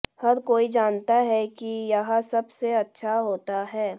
हर कोई जानता है कि यह सबसे अच्छा होता है